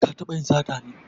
Ka taɓa yin sata ne?